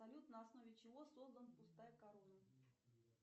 салют на основе чего создан пустая корона